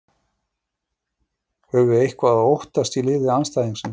Höfum við eitthvað að óttast í liði andstæðingsins?